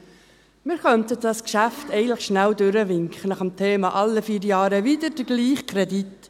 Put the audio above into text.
Eigentlich könnten wir dieses Geschäft schnell durchwinken, ganz nach dem Motto «alle vier Jahre wieder der gleiche Kredit».